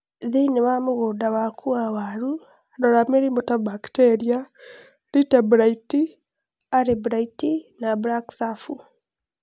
Thĩinĩ wa mũgũnda waku wa waru, rora mĩrimũ ta bakteria, lĩte blite, are blite na black scurf.